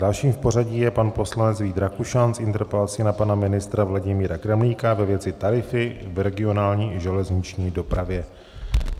Dalším v pořadí je pan poslanec Vít Rakušan s interpelací na pana ministra Vladimíra Kremlíka ve věci tarify v regionální železniční dopravě.